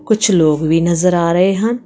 ਕੁਛ ਲੋਕ ਵੀ ਨਜ਼ਰ ਆ ਰਹੇ ਹਨ।